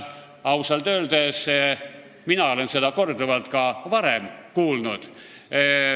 Ausalt öeldes, mina olen seda korduvalt ka varem kuulnud.